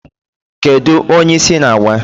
Kedụ onye isi na-awa?